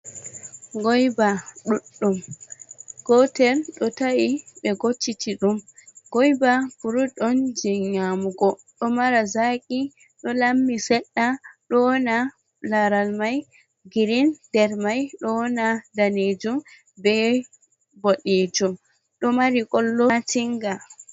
Goyba ɗuɗɗum gotel ɗo ta’i be gocciti ɗum, goyba frut on jei nyamugo ɗo mara zaqi ɗo lammi seɗɗa, ɗo wona laral mai girin der mai ɗo wona daneejum be bodejum ɗo mari qollo matinga.